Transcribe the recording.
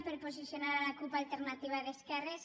per posicionar la cup alternativa d’esquerres